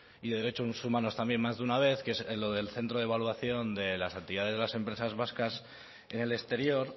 y derechos humanos también más de una vez que es lo del centro de evaluación de las entidades de las empresas vascas en el exterior